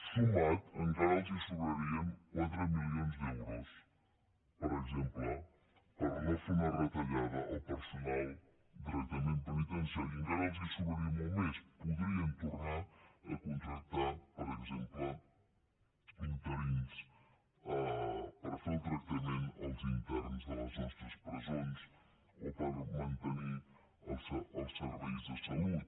sumats encara els sobrarien quatre milions d’euros per exemple per no fer una retallada al personal de tractament penitenciari i encara els sobraria molt més podrien tornar a contractar per exemple interins per fer el tractament als interns de les nostres presons o per mantenir els serveis de salut